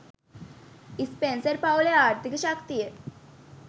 Spencer පවුලේ ආර්ථීක ශක්තිය